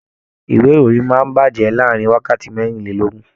Ìwé ìròyìn máa n bajẹ láàrin wákàtí merinlelogun.